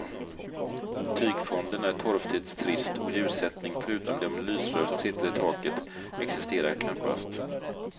Tygfonden är torftigt trist och ljussättning, förutom de lysrör som sitter i taket, existerar knappast.